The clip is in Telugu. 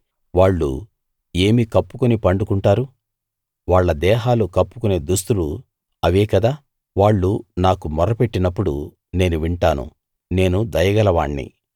వాళ్ళు ఏమి కప్పుకుని పండుకుంటారు వాళ్ళ దేహాలు కప్పుకొనే దుస్తులు అవే కదా వాళ్ళు నాకు మొర పెట్టినప్పుడు నేను వింటాను నేను దయగల వాణ్ణి